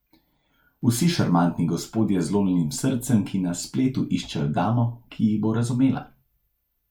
Vsi šarmantni gospodje z zlomljenim srcem, ki na spletu iščejo damo, ki jih bo razumela.